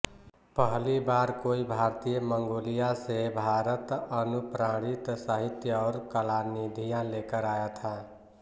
पहली बार कोई भारतीय मंगोलिया से भारतअनुप्राणित साहित्य और कलानिधियां लेकर आया था